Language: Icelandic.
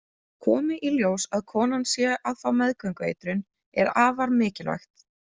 Komi í ljós að konan sé að fá meðgöngueitrun er afar mikilvægt.